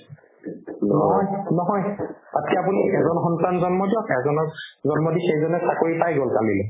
নহয় নহয় তাতকে আপুনি এজন সন্তান জন্ম দিয়ক এজনক জন্ম দি সেইজনে চাকৰি পাই গ'ল কালিলে